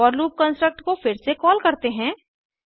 four loop construct को फिर से कॉल करते हैं